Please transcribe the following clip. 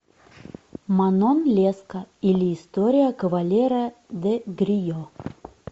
манон леско или история кавалера де грие